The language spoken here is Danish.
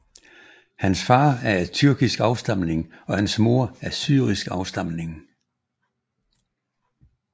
Hans far er af tyrkisk afstemning og hans mor af syrisk afstamning